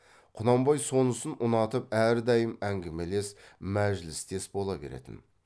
құнанбай сонысын ұнатып әрдайым әңгімелес мәжілістес бола беретін